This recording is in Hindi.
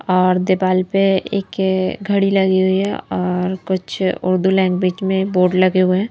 और देपाल पे एक घड़ी लगी हुई है और कुछ उर्दू लैंग्वेज में बोर्ड लगे हुए हैं।